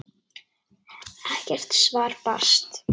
Ekkert svar barst.